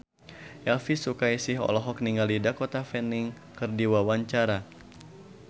Elvy Sukaesih olohok ningali Dakota Fanning keur diwawancara